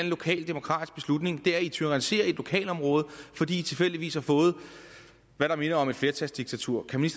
lokal demokratisk beslutning det er at i tyranniserer et lokalområde fordi i tilfældigvis har fået hvad der minder om et flertalsdiktatur kan